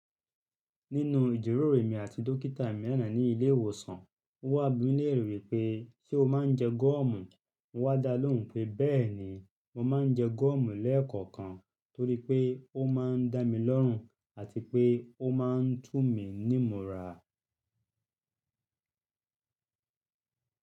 Nínú ìjíròrò mi àti dókítà mi àná ní ilé ìwòsàn, ó wá bí mi léèrè wípé “ṣé o máa ń jẹ gúọ́mù?” mo wá dá lóhùn pé “béèni, mo máa ń jẹ gúọ́mù lẹ́ẹ̀kọ̀kan torí pé ó máa ń dá mi lọ́rùn àti pé ó máà ń tù mí ní mo ra.”